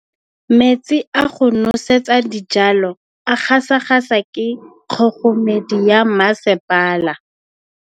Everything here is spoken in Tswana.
Metsi a go nosetsa dijalo a gasa gasa ke kgogomedi ya masepala.